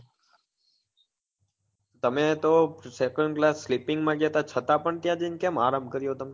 તમે તો second class slipping માં ગયા તા છતા પણ કેમ ત્યાં જઈ ને આરામ કર્યો તમે?